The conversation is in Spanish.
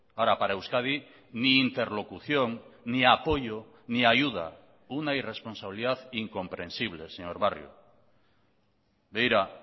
ahora para euskadi ni interlocución ni apoyo ni ayuda una irresponsabilidad incomprensible señor barrio begira